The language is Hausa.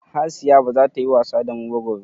Hasiya baza ta yi wasa damu ba gobe.